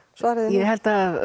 ég held að